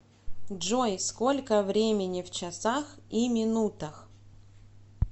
джой сколько времени в часах и минутах